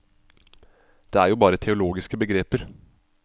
Det er jo bare teologiske begreper.